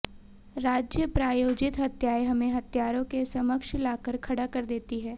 राज्य प्रायोजित हत्याएं हमें हत्यारों के समकक्ष लाकर खड़ा कर देती हैं